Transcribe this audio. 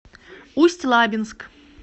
усть лабинск